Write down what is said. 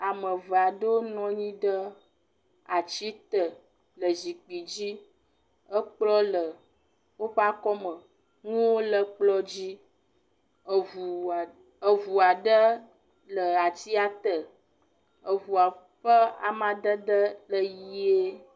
Ame eve aɖewo nɔ nyi ɖe atsi te le zikpui dzi. Ekplɔ le woƒe akɔme, nuwo le kplɔ dzi, eŋua eŋu aɖe le atsia te. Eŋua ƒe amadede le ʋɛ̃e.